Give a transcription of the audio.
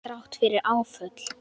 Þrátt fyrir áföll.